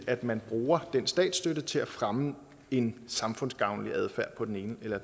at man bruger den statsstøtte til at fremme en samfundsgavnlig adfærd på den ene eller